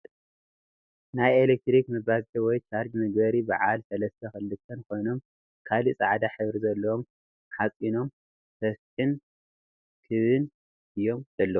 ናይ ኤልኽትሪክ ምባዝሒ ወይ ቻርጅ መግበሪ በዓል ስለስት ኽልተን ኮይኖም ካሊእ ፃዕዳ ሕብሪ ዘልዎም ሓፂኖም ስፊሕን ክብን እዩም ዘለዉ ።